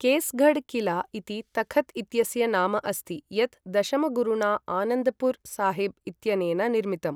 केस्गढ् किला इति तखत् इत्यस्य नाम अस्ति यत् दशमगुरुणा आनन्द्पुर् साहिब् इत्यनेन निर्मितम्।